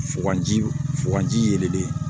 Fo ka ji fo ka ji yelen de